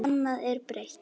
Annað er breytt.